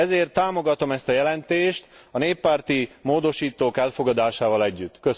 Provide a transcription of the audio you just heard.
Ezért támogatom ezt a jelentést a néppárti módosítók elfogadásával együtt.